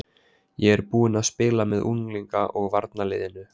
Ég er búinn að spila með unglinga og varaliðinu.